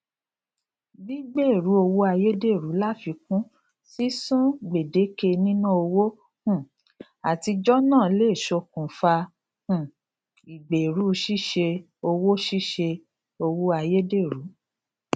gbígbèèrú owó ayédèrú láfikún sísun gbèdéke níná owó um àtijọ náà le ṣokùnfà um ìgbèèrú ṣíṣe owó ṣíṣe owó ayédèrú